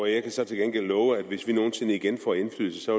jeg kan så til gengæld love at hvis vi nogensinde igen får indflydelse